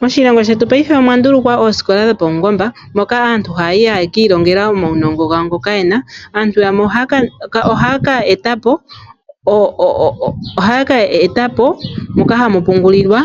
Moshilongo shetu paife omwa ndulukwa oosikola dho paungomba moka aantu haya yi haye ki ilongela omaunongo gawo, ngoka yena, aantu yamwe ohaya ka eta po moka hamu pungulilwa,